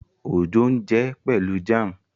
Ojo n jé Pẹlú jam.